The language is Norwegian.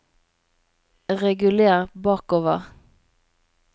reguler bakover